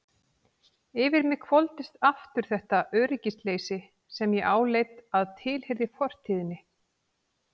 Yfir mig hvolfdist aftur þetta öryggisleysi sem ég áleit að tilheyrði fortíðinni.